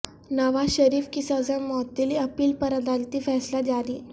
نواز شریف کی سزا معطلی اپیل پر عدالتی فیصلہ جاری